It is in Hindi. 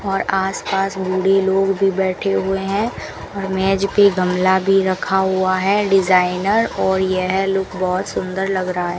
और आस पास बूढ़े लोग भी बैठे हुए हैं और मेज पे गमला भी रखा हुआ है डिजाइनर और यह लुक बहोत सुंदर लग रहा है।